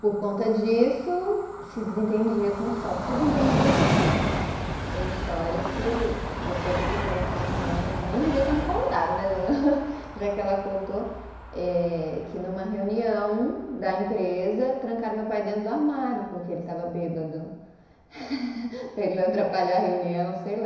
Por conta disso, se desentendia com sorte, se desentendia não, mas tem histórias que depois eu fiquei sabendo pela minha mãe, nem devia ter me contado né, já que ela contou eh, que numa reunião da empresa, trancaram meu pai dentro do armário, porque ele estava bêbado, para ele não atrapalhar a reunião, sei lá.